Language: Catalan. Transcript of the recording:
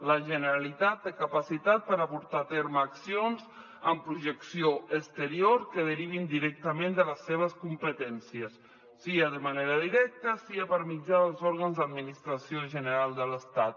la generalitat té capacitat per a portar a terme accions amb projecció exterior que derivin directament de les seves competències sia de manera directa sia per mitjà dels òrgans d’administració general de l’estat